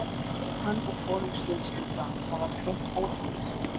Hann og konungsfjölskyldan, það var hreint ótrúlegt.